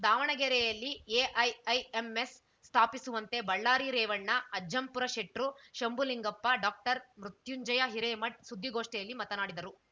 ದಾವಣಗೆರೆಯಲ್ಲಿ ಎಐಐಎಂಎಸ್‌ ಸ್ಥಾಪಿಸುವಂತೆ ಬಳ್ಳಾರಿ ರೇವಣ್ಣ ಅಜ್ಜಂಪುರಶೆಟ್ರು ಶಂಭುಲಿಂಗಪ್ಪ ಡಾಕ್ಟರ್ಮೃತ್ಯುಂಜಯ ಹಿರೇಮಠ ಸುದ್ದಿಗೋಷ್ಠಿಯಲ್ಲಿ ಮಾತನಾಡಿದರು